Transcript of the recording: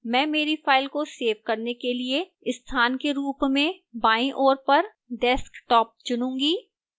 मैं मेरी file को सेव करने के लिए स्थान के रूप में बाईं ओर पर desktop चुनूंगी